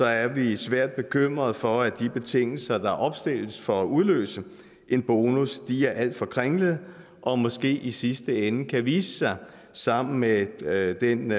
er vi svært bekymrede for at de betingelser der opstilles for at udløse en bonus er alt for kringlede og måske i sidste ende kan vise sig sammen med med den